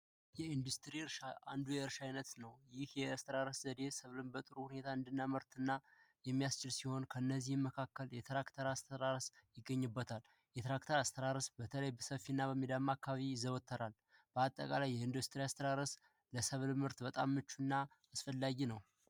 የኢንዱስትሪ እርሻ አንዱ የእርሻ አይነት ነው። ይህ የአስተራረስ ዘዴ ሰብልን በጥሩ ሁኔታ እንድናመርት እና የሚያስችል ሲሆን ከነዚህ መካከል የትራክተር አስተራረስ ይገኝበታል የትራክተር አስተራረስ በተለይ በሰፊነት ሚዳማ አካባቢ ይዘወተራል። በአጠቃላይ ይህ አይነት አስተራረስ ለሰብል ምርት በጣም አስፈላጊ እና ምቹ ነው።